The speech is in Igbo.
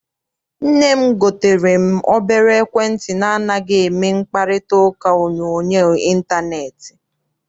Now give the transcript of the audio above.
Nne m gotere m obere ekwentị na anaghị eme mkparitauka onyoonyo intaneeti.